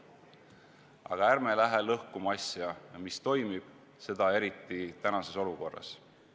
Aga ärme läheme lõhkuma asja, mis toimib, seda eriti praeguses olukorras.